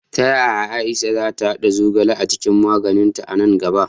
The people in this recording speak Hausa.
Ta yaya Aisha za ta haɗa zogale a cikin magininta a nan gaba?